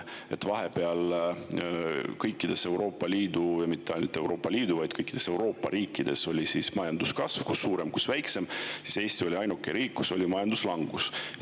Vahepeal oli kõikides Euroopa Liidu riikides, ja mitte ainult Euroopa Liidu, vaid kogu Euroopa riikides majanduskasv – kus suurem, kus väiksem – ning Eesti oli ainuke riik, kus oli majanduslangus.